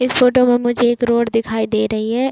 इस फोटो में मुझे एक रोड दिखाई दे रही है।